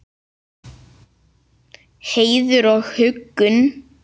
Heiður og huggun.